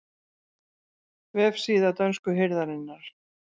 Vefsíða dönsku hirðarinnar